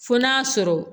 Fo n'a sɔrɔ